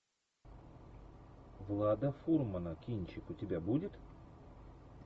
влада фурмана кинчик у тебя будет